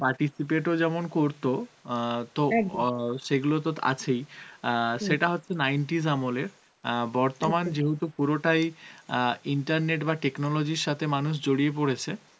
participate ও যেমন করতো অ্যাঁ তো সেগুলো তো আছেই অ্যাঁ সেটা হচ্ছে nineties আমলের অ্যাঁ যেহেতু পুরোটাই অ্যাঁ internet বা technology র সথে মানুষ জড়িয়ে পরেছে